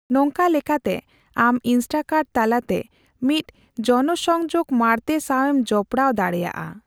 ᱱᱚᱝᱠᱟ ᱞᱮᱠᱟᱛᱮ, ᱟᱢ ᱤᱱᱥᱴᱟᱠᱟᱨᱴ ᱛᱟᱞᱟᱛᱮ ᱢᱤᱫ ᱡᱚᱱᱚᱥᱚᱝᱡᱳᱜᱽ ᱢᱟᱬᱛᱮ ᱥᱟᱣ ᱮᱢ ᱡᱚᱯᱲᱟᱣ ᱫᱟᱲᱮᱭᱟᱜᱼᱟ ᱾